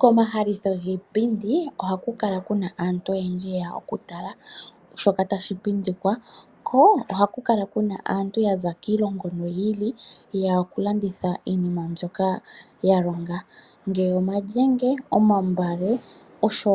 Komahalitho giipindi, oha ku kala ku na aantu oyendji ye ya okatala shoka tashi pindikwa. Ko oha ku kala ku na aantu ya za kiilongo yi ili noyi ili yeya okulanditha iinima mbyoka ya longa ngaashi omalyenge, omambale nosho